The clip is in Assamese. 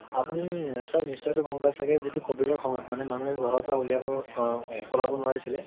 আপুনি sir নিশচয়তে গম পায় ছাগে যে এটু ক্ষুদ্ৰিয় সমাজ মানে মানুহে ঘৰৰ পৰা উলিৱাব অ উলাব নোৱাৰিছিলে